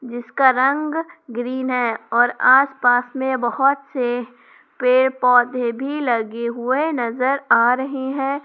जिसका रंग ग्रीन है और आस पास में बहुत से पेड़ पौधे भी लगे हुए नजर आ रहे हैं।